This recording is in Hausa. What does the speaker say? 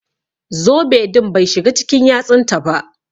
Zobe din Bai shiga cikin yatsun taba.